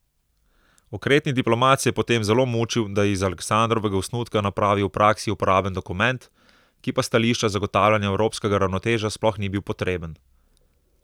Okretni diplomat se je potem zelo mučil, da je iz Aleksandrovega osnutka napravil v praksi uporaben dokument, ki pa s stališča zagotavljanja evropskega ravnotežja sploh ni bil potreben.